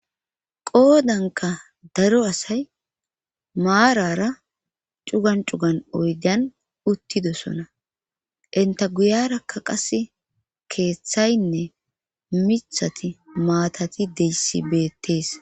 qoodanka daro asay maarara cugan cugan oydan uttidosona inta guyarakka qase keeththaynne mithati maatati deyssi beettees